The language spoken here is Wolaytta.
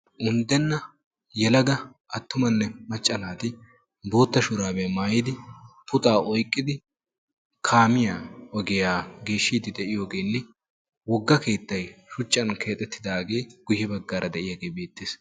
unddenna yelaga attumanne macca naati bootta shuraabiya maayidi puxxaa oyqqidi kaamiya ogiya geeshshidi de'iyogenne wogga keettay shuchchan keexetidaage guye bagaara de'iyooge beettees.